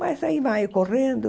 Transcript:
Mas aí em maio, correndo,